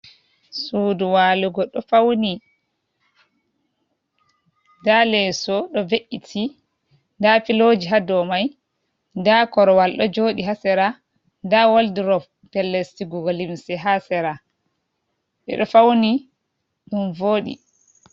Suudu waalugo ɗo fawni, ndaa leeso ɗo ve’iti, ndaa filooji haa dow may, ndaa korowal ɗo jooɗi, haa sera, ndaa woldurop pellel sigugo limse haa sera, ɓe ɗo fawni ɗum vooɗi.